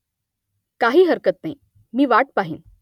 काही हरकत नाही . मी वाट पाहिन